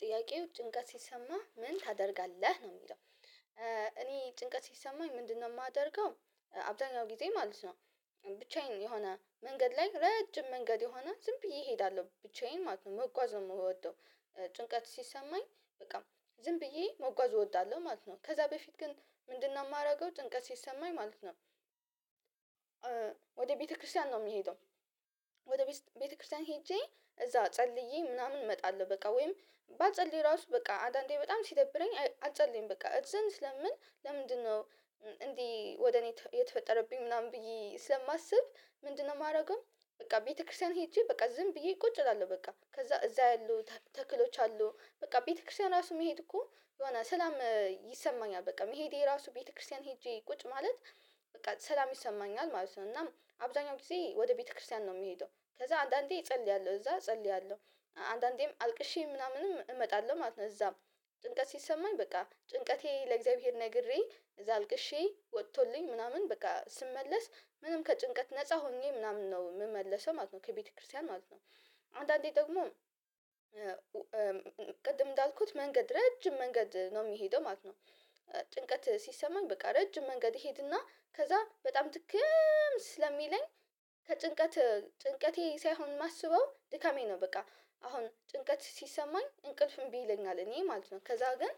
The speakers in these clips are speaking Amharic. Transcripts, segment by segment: ጥያቄው ጭንቀት ሲሰማህ ምን ታደርጋለህ ነው የሚለው? እኔ ጭንቀት ሲሰማኝ ምንድነው የማደርገው አብዛኛው ጊዜ ማለት ነው። ብቻዬን የሆነ መንገድ ላይ ረጅም መንገድ የሆነ ዝም ብዬ እሄዳለሁ ብቻዬን ማለት ነው መጓዝ ነው የምወደው። ጭንቀት ሲሰማኝ በቃ ዝም ብዬ መጓዝ እወዳለሁ ማለት ነው። ከዛ በፊት ግን ምንድነው የማደርገው ጭንቀት ሲሰማኝ ማለት ነው? ወደ ቤተክርስቲያን ነው የምሄደው። ወደ ቤተክርስቲያን ሄጄ እዛ ፀልዬ ምናምን እመጣለሁ። በቃ ወይም ባልፀልይ ራሱ በቃ አዳንዴ በጣም ሲደብረኝ አልፀለይም በቃ እግዘብሔርን ስለምን ለምንድነው? እንዲህ ወደ እኔ የተፈጠረብኝ ምናምን ብዬ ስለማስብ ምንድነው የማደርገው? በቃ ቤተክርስቲያን ሄጄ በቃ ዝም ብዬ ቁጭ እላለሁ በቃ ከዛ እዛ ያሉ ተክሎች አሉ በቃ ቤተክርስቲያን ራሱ መሄድ እኮ የሆነ ሰላም ይሰማኛል። በቃ መሄዴ ራሱ ቤተክርስቲያን ሄጄ ቁጭ ማለት በቃ ሰላም ይሰማኛል ማለት ነው። እና አብዛኛው ጊዜ ወደ ቤተክርስቲያን ነው የሚሄደው ከዛ አንዳንዴ እፀልያለሁ እዛ እፀልያለሁ አንዳንዴም አልቅሼ ምናምንም እመጣለሁ ማለት ነው። እዛም ጭንቀት ሲሰማኝ በቃ ጭንቀቴ ለእግዚአብሔር ነግሬ እዛ አልቅሼ ወቶልኝ ምናምን በቃ ስመለስ ምንም ከጭንቀት ነፃ ሆኜ ምናምን ነው የምመለሰው ማለት ነው ከቤተክርስቲያን ማለት ነው። አንዳንዴ ደግሞ ቅድም እንዳልኩት መንገድ ረጅም መንገድ ነው የምሄደው ማለት ነው። ጭንቀት ሲሰማኝ በቃ ረጅም መንገድ እሄድና ከዛ በጣም ድክም ስለሚለኝ። ከጭንቀት ጭንቀቴ ሳይሆን የማስበው ድካሜ ነው በቃ አሁን ጭንቀት ሲሰማኝ እንቅልፍም እንቢ ይለኛል እኔ ማለት ነው። ከዛ ግን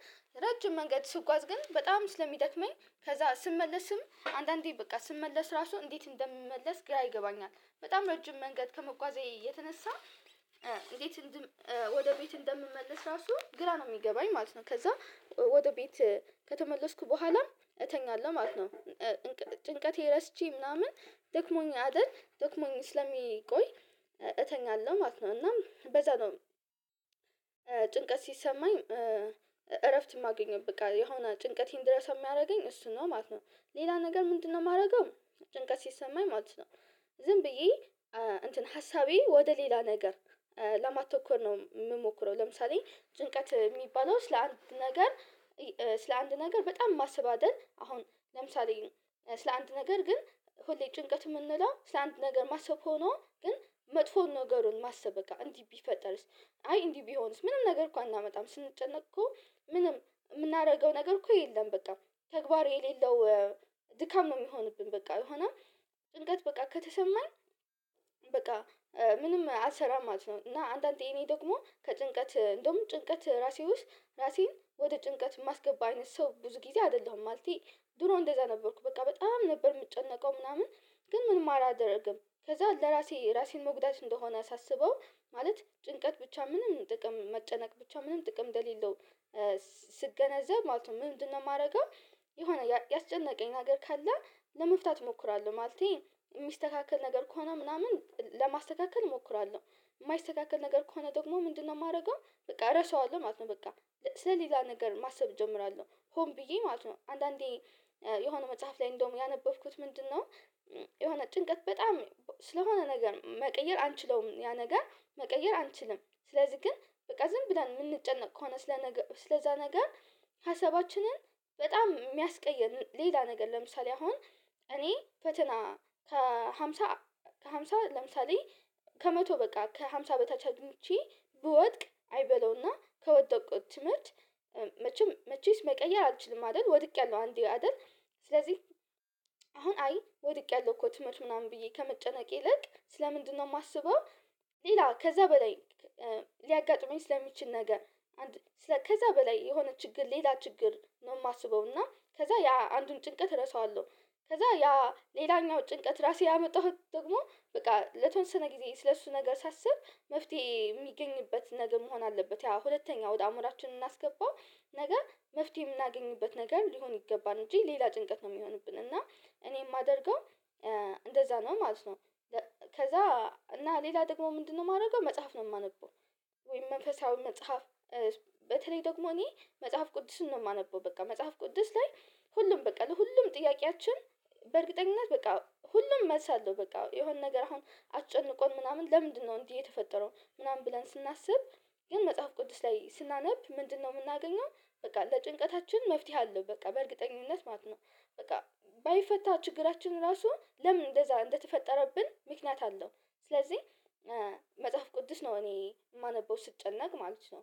ረጅም መንገድ ስጓዝ ግን በጣም ስለሚደክመኝ ከዛ ስመለስም አንዳንዴ በቃ ስመለስ ራሱ እንዴት እንደምመለስ ግራ ይገባኛል። በጣም ረጅም መንገድ ከመጓዜ የተነሳ እንዴት ወደ ቤት እንደምመለስ ራሱ ግራ ነው የሚገባኝ ማለት ነው። ከዛ ወደ ቤት ከተመለስኩ በኋላ እተኛለሁ ማለት ነው። ጭንቀቴ ረስቼ ምናምን ደክሞኝ አይደል ደክሞኝ ስለምቆይ እተኛለሁ ማለት ነው እናም በዛ ነው። ጭንቀት ሲሰማኝ እረፍት የማገኘው በቃ የሆነ ጭንቀቴን እንድረሳ የሚያደርገኝ እሱ ነው ማለት ነው። ሌላ ነገር ምንድነው የማደርገው? ጭንቀት ሲሰማኝ ማለት ነው ዝም ብዬ እንትን ሀሳቤን ወደ ሌላ ነገር ለማተኮር ነው የምሞክረው። ለምሳሌ ጭንቀት የሚባለው ስለ አንድ ነገር ስለ አንድ ነገር በጣም ማሰብ አይደለ አሁን ለምሳሌ ስለ አንድ ነገር ግን ሁሌ ጭንቀት የምንለው ስለ ነገር ማሰብ ሆኖ ግን መጥፎን ነገሩን ማሰብ እንዲህ ቢፈጠርስ? አይ እንዲህ ቢሆንስ? ምንም ነገር እኮ አናመጣም ስንጨነቅ እኮ ምንም የምናደርገው ነገር እኮ የለም። በቃ ተግባር የሌለው ድካም ነው የሚሆንብን በቃ ሆኖም ጭንቀት በቃ ከተሰማን በቃ ምንም አልሰራም ማለት ነው። እና አንዳንዴ እኔ ደግሞ ከጭንቀት እንደውም ጭንቀት ራሴ ወስጥ ራሴን ወደ ጭንቀት የማስገባ አይነት ሰው ብዙ ጊዜ አይደለሁም። ማለቴ ድሮ እንደዛ ነበርኩ በቃ በጣም ነበር የምጨነቀው ምናምን ግን ምንም አላደርግም ከዛ ለራሴ ራሴን መጉዳት እንደሆነ ሳስበው ማለት ጭንቀት ብቻ ምንም ጥቅም መጨነቅ ብቻ ምንም ጥቅም እንደሌለው ስገነዘብ ማለት ነው። ምንድነው የማደርገው? የሆነ ያስጨነቀኝ ነገር ካለ ለመፍታት እሞክራለሁ ማለቴ የሚስተካከል ነገር ከሆነ ምናምን ለማስተካከል እሞክራለሁ የማይስተካከል ነገር ከሆነ ደግሞ ምንድነው የማደርገው በቃ እረሳዋለሁ ማለት ነው። በቃ ስለዚህ የዛን ነገር ማሰብ እጀምራለሁ ሆን ብዬ ማለት ነው አንዳንዴ የሆነ መጽሐፍ ላይ እንደውም ያነበብኩት ምንድነው የሆነ ጭንቀት በጣም ስለሆነ ነገር መቀየር አንችለውም ያ ነገር መቀየር አንችልም። ስለዚህ ግን በቃ ዝም ብለን የምንጨነቅ ከሆነ ስለዛ ነገር ሀሳባችንን በጣም የሚያስቀየር ሌላ ነገር ለምሳሌ አሁን እኔ ፈተና ከሃምሳ ከሃምሳ ለምሳሌ ከመቶ በቃ ከሃምሳ በታች አግኝቼ ብወድቅ አይበለውና ከወደቁት ትምህርት መቼስ መቀየር አልችልም። አይደል ወድቄያለሁ አንዴ አይደል ስለዚህ አሁን አይ ወድቄያለሁ እኮ ትምህርት ምናምን ብዬ ከመጨነቅ ይልቅ ስለ ምንድነው የማስበው? ሌላ ከዛ በላይ ሊያጋጥመኝ ስለሚችል ነገር አንድ ከዛ በላይ የሆነ ችግር ሌላ ችግር ነው የማስበው እና ከዛ ያ አንዱን ጭንቀት እረሳዋለሁ። ከዛ ያ ሌላኛው ጭንቀት ራሴ ያመጣሁት ደግሞ በቃ ለተወሰነ ጊዜ ስለእሱ ነገር ሳስብ መፍትሄ የሚገኝበት ነገር መሆን አለበት ያ ሁለተኛው ወደ አእምሮአችን ምናስገባው ነገ መፍትሄ የምናገኝበት ነገር ሊሆን ይገባል እንጂ ሌላ ጭንቀት ነው የሚሆንብን እና እኔ የማደርገው። እንደዛ ነው ማለት ነው። ከዛ እና ሌላ ደግሞ ምንድነው የማደርገው? መጽሐፍ ነው የማነበው ወይም መንፈሳዊ መጽሐፍ በተለይ ደግሞ እኔ መጽሐፍ ቅዱስን ነው የማነበው በቃ መጽሐፍ ቅዱስ ላይ ሁሉም በቃ ለሁሉም ጥያቄያችን በእርግጠኝነት በቃ ሁሉም መልስ አለው። በቃ የሆነ ነገር አሁን አሰጨንቆን ምናምን ለምንድነው እንዲህ የተፈጠረው ምናምን ብለን ስናስብ። ግን መጽሐፍ ቅዱስ ላይ ስናነብ ምንድነው የምናገኘው? በቃ ለጭንቀታችን መፍትሄ አለው በቃ በእርግጠኝነት ማለት ነው። በቃ ባይፈታ ችግራችን ራሱ ለምን እንደዛ እንደተፈጠረብን ምክንያት አለው። ስለዚህ መጽሐፍ ቅዱስ ነው እኔ የማነበው ስጨነቅ ማለት ነው።